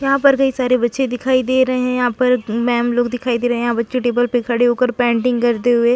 यहाँ पर कई सारे बच्चे दिखाई दे रहे है यहाँ पर मेम लोग दिखाई दे रहे है यहाँ पर बच्चे टेबल पर खड़े हो कर पेंटिंग करते हुए--